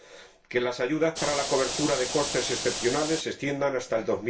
En segundo lugar, que las ayudas para la cobertura de costes excepcionales se extiendan hasta el